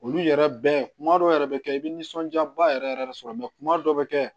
Olu yɛrɛ bɛɛ kuma dɔ yɛrɛ bɛ kɛ i bɛ nisɔndiya ba yɛrɛ yɛrɛ sɔrɔ kuma dɔw bɛ kɛ